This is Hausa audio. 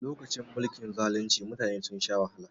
Lokacin mulkin zalunci mutane sun sha wahala